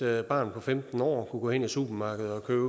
at et barn på femten år kunne gå hen i supermarkedet og købe